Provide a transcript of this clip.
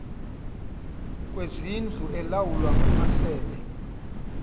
kwezindlu elawulwa ngamasebe